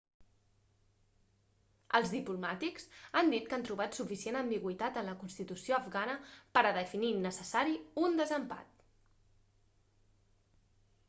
els diplomàtics han dit que han trobat suficient ambigüitat en la constitució afgana per a definir innecessari un desempat